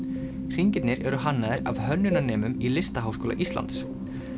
hringirnir eru hannaðir af í Listaháskóla Íslands